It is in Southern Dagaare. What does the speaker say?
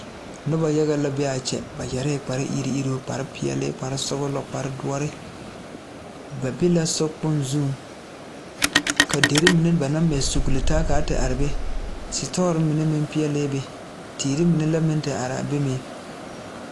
Nobɔ yaga la be aa kyɛ ba yɛrɛɛ kpare iruŋ iruŋ kpare peɛɛle kpare sɔglɔ kpare doɔre ba be la so kpoŋ zuŋ ka derre mine ba naŋ mɛ suglitaa kaa te are be ka sitɔɔ mine peɛɛlɛɛ be teer mine la meŋ te araa be meŋ.